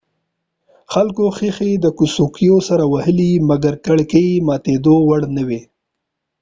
خلکو ښیښي د څوکیو سره وهلي مګر کړکۍ ماتېدو وړ نه وې